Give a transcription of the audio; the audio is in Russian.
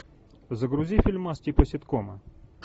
загрузи фильмас типа ситкома